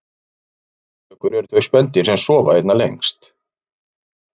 leðurblökur eru þau spendýr sem sofa einna lengst